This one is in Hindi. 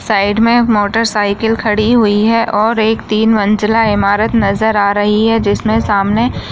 साइड मे मोटर सायकल खड़ी हुई है और एक तीन मंज़िला इमारत नजर आ रही है। जिसमे सामने --